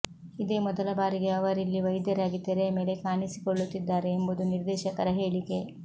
ಇದೇ ಮೊದಲ ಬಾರಿಗೆ ಅವರಿಲ್ಲಿ ವೈದ್ಯರಾಗಿ ತೆರೆಯ ಮೇಲೆ ಕಾಣಿಸಿಕೊಳ್ಳುತ್ತಿದ್ದಾರೆ ಎಂಬುದು ನಿರ್ದೇಶಕರ ಹೇಳಿಕೆ